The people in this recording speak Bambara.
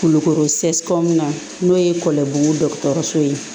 Kulukoro na n'o ye kɔlɔn dɔgɔtɔrɔso ye